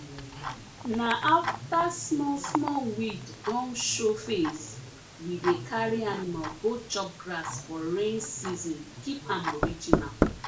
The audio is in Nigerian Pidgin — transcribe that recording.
na afta small small weed don show face we dey carry animal go chop grass for rain season keep am original